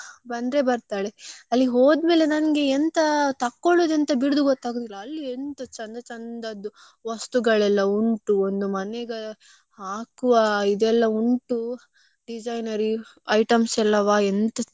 ಬಿಡುದು ಗೊತ್ತಾಗುದಿಲ್ಲ ಅಲ್ಲಿ ಎಂತ ಚಂದ ಚಂದ ಚಂದದ್ದು ವಸ್ತುಗಳೆಲ್ಲ ಉಂಟು ಒಂದು ಮನೆಗೆ ಹಾಕುವ ಇದು ಎಲ್ಲಾ ಉಂಟು designery items ಎಂತ ಚೆಂದ ಉಂಟು ಬಟ್ಟೆ ನೋಡಿದ್ರೆ ಯಾವ್ದು ತಕೊಳ್ಳುದು ಯಾವ್ದು.